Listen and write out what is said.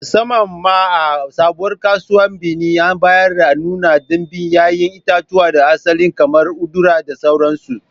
Musamman ma, a Sabuwar Kasuwar Benin, a baya an nuna ɗimbin 'ya'yan itatuwa na asali kamar udara da sauransu